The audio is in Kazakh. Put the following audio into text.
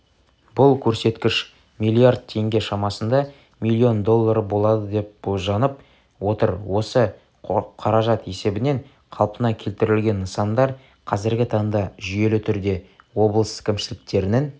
бұл көрсеткіш миллиард теңге шамасында миллион доллары болады деп болжанып отыр осы қаражат есебінен қалпына келтірілген нысандар қазіргі таңда жүйелі түрде облыс кімшіліктерінің